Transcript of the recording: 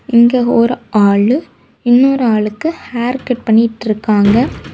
இங்க ஒரு ஆளு இன்னொரு ஆளுக்கு ஹேர் கட் பண்ணிட்டுருக்காங்க.